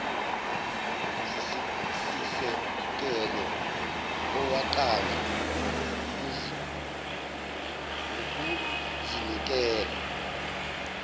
sisekelo owaqanjwa ngukuzinikela